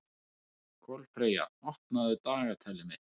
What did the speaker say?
Kolfreyja, opnaðu dagatalið mitt.